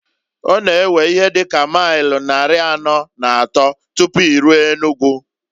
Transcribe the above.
Ọ na ewe ihe dị ka mail nnari anọọ na atọọ tupu iruo Enugu.